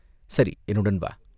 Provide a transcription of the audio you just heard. "சரி, என்னுடன் வா!